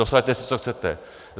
Dosaďte si, co chcete.